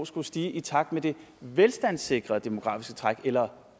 skulle stige i takt med det velstandssikrede demografiske træk eller